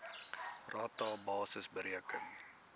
rata basis bereken